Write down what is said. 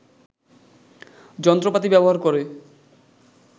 যন্ত্রপাতি ব্যবহার করে